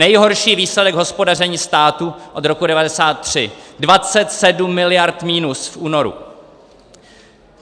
Nejhorší výsledek hospodaření státu od roku 1993: 27 miliard minus v únoru.